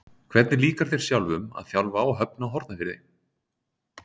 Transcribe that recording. Hvernig líkar þér sjálfum að þjálfa á Höfn í Hornafirði?